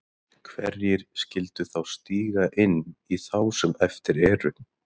Hverjir skildu þá stíga inn í þá sem eftir eru?